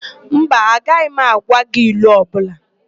Mba, agaghị m agwa gị ilu ọbụla.